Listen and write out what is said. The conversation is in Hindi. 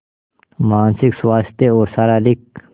मानसिक स्वास्थ्य और शारीरिक स्